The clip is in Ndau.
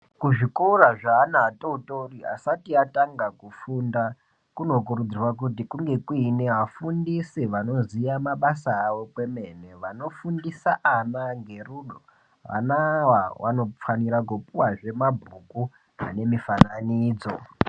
Kuzvikora zveana atotori asati atanga kufunda kunokurudzirwa kuti kunge kune afundisi vanoziya mabasa awo kwemene. Vanofundisa ana ngerudo. Vana ava vanofanira kupuwa zve mabhuku ane mufananidzo